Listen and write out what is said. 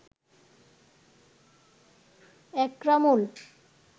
Ekramul